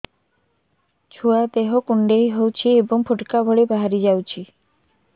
ଛୁଆ ଦେହ କୁଣ୍ଡେଇ ହଉଛି ଏବଂ ଫୁଟୁକା ଭଳି ବାହାରିଯାଉଛି